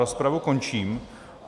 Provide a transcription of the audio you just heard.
Rozpravu končím.